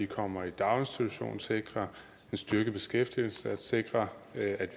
kommer i daginstitutioner sikrer en styrket beskæftigelse og sikrer at